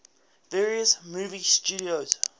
various movie studios